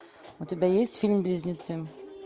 у тебя есть фильм близнецы